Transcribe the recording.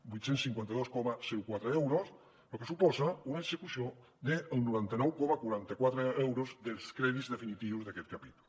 vuit cents i cinquanta dos coma quatre euros lo que suposa una execució del noranta nou coma quaranta quatre per cent dels crèdits definitius d’aquest capítol